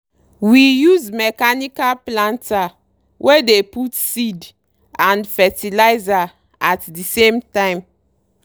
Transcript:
we use mechanical planter wey dey put seed and fertilizer at dey same time.